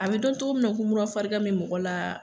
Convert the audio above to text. A be dɔn cogo min na ko mura farigan be mɔgɔ la.